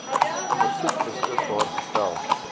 versoek beskikbaar gestel